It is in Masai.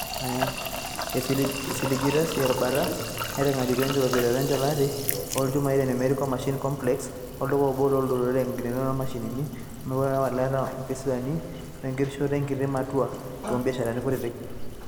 Esiligitay sininye erubata meitangejuko enkitobira encholati oolchumai te Numerical Machining Complex (NMC), olduka obo looutarot, enkitangejuko o mashinini wemponaroto welaata oo mpisuani wenkishoroto enkiti matua too biasharani kutiti.